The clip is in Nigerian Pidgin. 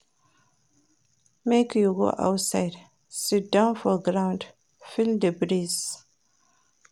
Make you go outside, siddon for ground, feel di breeze.